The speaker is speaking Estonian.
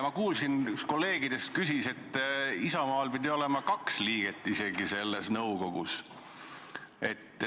Ma kuulsin, et üks kolleegidest küsis selle kohta, et Isamaal pidi olema isegi kaks liiget selles nõukogus.